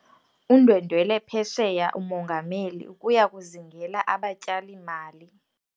Undwendwele phesheya umongameli ukuya kuzingela abatyali-mali.